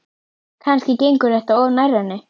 Kannski gengur þetta of nærri henni.